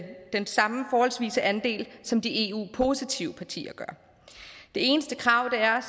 den samme forholdsvise andel som de eu positive partier gør det eneste krav er